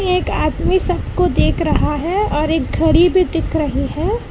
एक आदमी सबको देख रहा है और एक घड़ी भी दिख रही है।